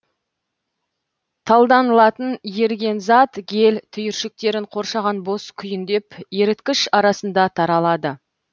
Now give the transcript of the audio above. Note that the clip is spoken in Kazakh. талданылатын еріген зат гель түйіршіктерін қоршаған бос күйіндеп еріткіш арасында таралады